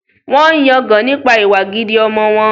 Wọ́n ń yangàn nípa ìwà gidi ọmọ wọn